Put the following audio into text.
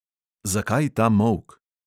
Zakaj ta molk?